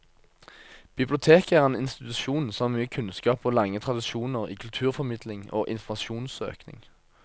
Biblioteket er en institusjon som har mye kunnskap og lange tradisjoner i kulturformidling og informasjonssøking.